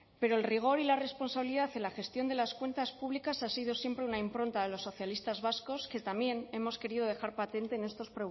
pero el rigor y la responsabilidad en la gestión de las cuentas públicas ha sido siempre una impronta de los socialistas vascos que también hemos querido dejar patente en estos